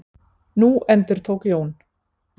Nú endurtók Jón.